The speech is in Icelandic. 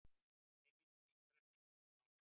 Heimildir og ítarefni: Gísli Pálsson.